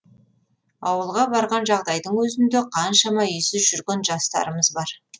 ауылға барған жағдайдың өзінде қаншама үйсіз жүрген жастарымыз бар